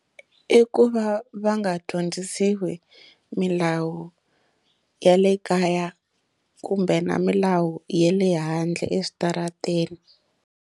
I ku va va nga dyondzisiwi milawu ya le kaya kumbe na milawu ya le handle eswitarateni.